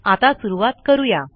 आता सुरूवात करू या